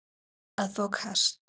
að fá kast